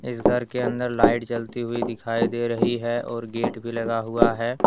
इस घर के अंदर लाइट जलती हुई दिखाई दे रही है और गेट भी लगा हुआ है।